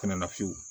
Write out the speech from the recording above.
Fɛnɛ na fiyewu